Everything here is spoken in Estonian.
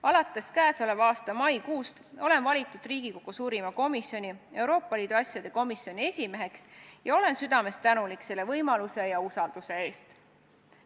Alates käesoleva aasta maikuust olen valitud Riigikogu suurima komisjoni, Euroopa Liidu asjade komisjoni esimeheks ja olen südamest tänulik selle võimaluse ja usalduse eest.